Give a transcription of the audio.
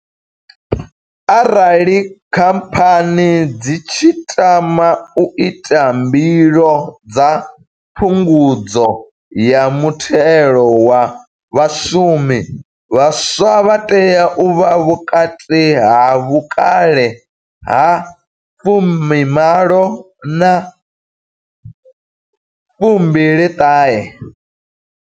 Arali Khamphani dzi tshi tama u ita mbilo dza phungudzo ya muthelo wa vhashumi, vhaswa vha tea u vha vhukati ha vhukale ha 18 na 29.